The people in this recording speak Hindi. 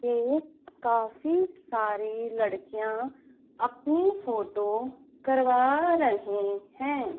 ये काफी सारी लड़कियां अपनी फोटो करवा रहे हैं।